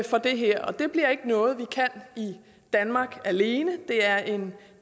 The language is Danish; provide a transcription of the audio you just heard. for det her og det bliver ikke noget vi kan i danmark alene det er en